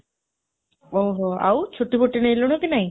ଓଃହୋ ଆଉ, ଛୁଟି ନେଲୁଣି କି ନାଇଁ?